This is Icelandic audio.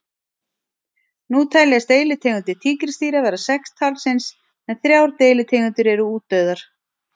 Nú teljast deilitegundir tígrisdýra vera sex talsins en þrjár deilitegundir eru útdauðar.